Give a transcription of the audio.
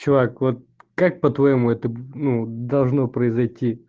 чувак вот как по-твоему это ну должно произойти